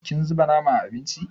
Kin zuba nama a abincin?